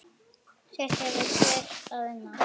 Sitt hefur hver að vinna.